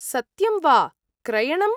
सत्यं वा ? क्रयणम् ?